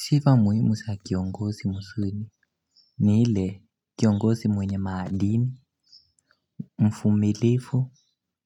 Sifa muhimu sa kiongozi mzuri ni ile kiongozi mwenye maadili, mfumilivu,